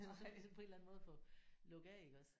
Altså på en eller anden måde få lukket af iggås